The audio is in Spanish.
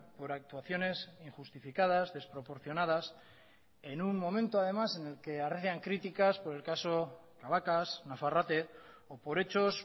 por actuaciones injustificadas desproporcionadas en un momento además en el que arrecian críticas por el caso cabacas nafarrate o por hechos